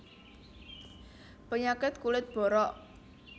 Penyakit kulit borok